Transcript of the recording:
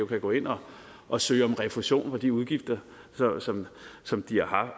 kan gå ind og og søge om refusion for de udgifter som som de har